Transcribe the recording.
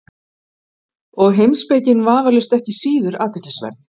Og heimspekin vafalaust ekki síður athyglisverð.